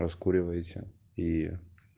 раскуривайся и